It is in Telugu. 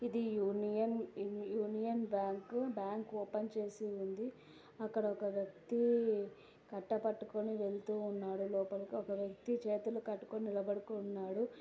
Union union bank bank open చేసి ఉంది. అక్కడ ఒక వ్యక్తి కట్ట పట్టుకొని వెళ్తూ ఉన్నాడు లోపలికి. ఒక వ్యక్తి చేతులు కట్టుకొని నిలబడి ఉన్నాడు.